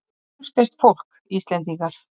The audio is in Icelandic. Kurteist fólk, Íslendingar.